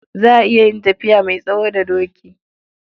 Za a iya yin tafiya mai tsawo da doki.